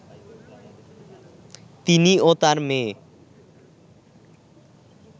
তিনি ও তার মেয়ে